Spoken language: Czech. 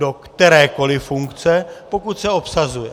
Do kterékoliv funkce, pokud se obsazuje.